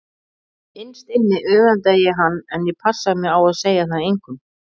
Innst inni öfundaði ég hann en ég passaði mig á að segja það engum.